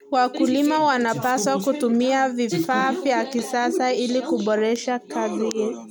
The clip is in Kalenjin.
Wakulima wanapaswa kutumia vifaa vya kisasa ili kuboresha kazi zao.